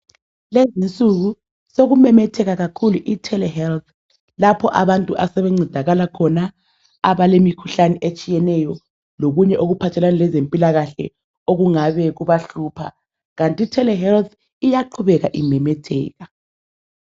Lezinsuku sokumemetheka kakhulu ithelehealth lapho abantu asebencedakala khona abalemikhuhlane etshiyeneyo lokunye okuphathelane lezempilakahle okungabe kubahlupha kanti itelehealth iyaqhubeka imemetheka.